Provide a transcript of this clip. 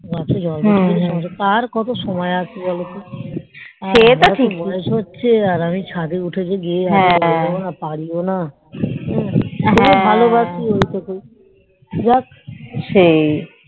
গাছে জল দেয়া কার কত সময় আছেই বলতঃ আর এখন বয়েস হচ্ছে আমি এখন ছাদ এ উঠিওনা আর জল ও দিতে পারিনা হ্যান ভালো বেশি ওই টুকই এক